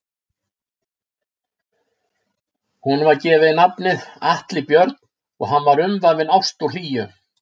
Honum var gefið nafnið Atli Björn og hann var umvafinn ást og hlýju.